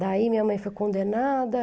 Daí minha mãe foi condenada.